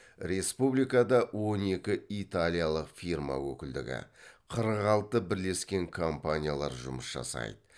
республикада он екі италиялық фирма өкілдігі қырық алты бірлескен компаниялар жұмыс жасайды